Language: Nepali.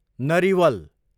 नरिवल